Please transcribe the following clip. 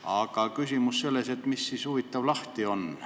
Aga küsimus on selles, et huvitav, mis siis lahti on.